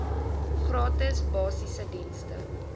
gratis basiese dienste